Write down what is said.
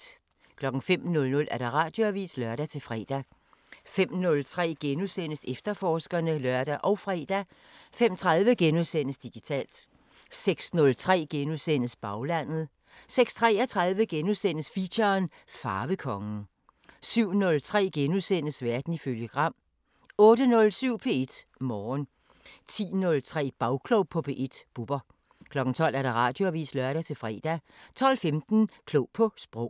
05:00: Radioavisen (lør-fre) 05:03: Efterforskerne *(lør og fre) 05:30: Digitalt * 06:03: Baglandet * 06:33: Feature: Farvekongen * 07:03: Verden ifølge Gram * 08:07: P1 Morgen 10:03: Bagklog på P1: Bubber 12:00: Radioavisen (lør-fre) 12:15: Klog på Sprog